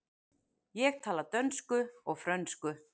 Ég tala dönsku og frönsku.